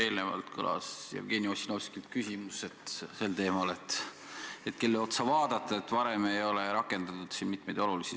Enne Jevgeni Ossinovski küsis, kelle otsa vaadata, et varem ei ole mitmeid olulisi sätteid rakendatud.